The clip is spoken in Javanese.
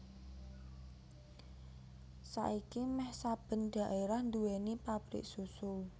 Saiki méh saben dhaérah nduwèni pabrik susu